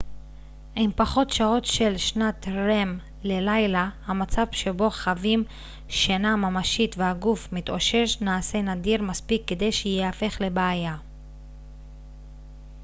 עם פחות שעות של שנת rem ללילה המצב שבו חווים שינה ממשית והגוף מתאושש נעשה נדיר מספיק כדי שייהפך לבעיה